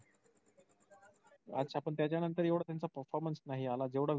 अच्छा पण त्याच्यानंतर त्यांचा एवढा performance नाही आला जेवढा